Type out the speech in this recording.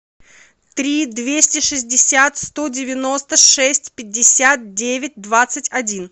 три двести шестьдесят сто девяносто шесть пятьдесят девять двадцать один